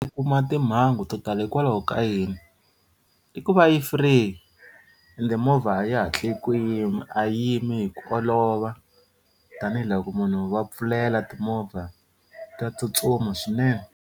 Ti kuma timhangu to tala hikwalaho ka yini i ku va yi free ende movha a yi hatli ku yima a yi yimi hi ku olova tanihiloko munhu va pfulela timovha ta tsutsuma swinene.